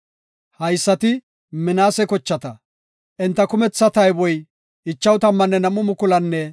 Haysati Minaase kochata; enta kumetha tayboy 52,700.